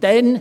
Danach